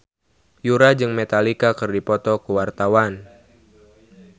Yura jeung Metallica keur dipoto ku wartawan